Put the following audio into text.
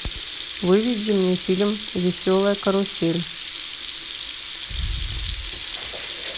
выведи мне фильм веселая карусель